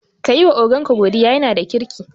Kayi wa ogan ka godiya, yana da kirki